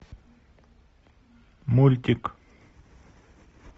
мультик